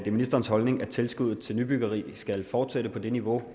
er ministerens holdning at tilskuddet til nybyggeri skal fortsætte på det niveau